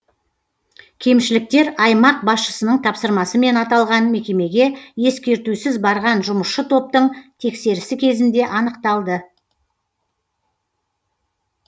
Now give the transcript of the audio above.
кемшіліктер аймақ басшысының тапсырмасымен аталған мекемеге ескертусіз барған жұмысшы топтың тексерісі кезінде анықталды